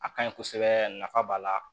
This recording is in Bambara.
A kaɲi kosɛbɛ nafa b'a la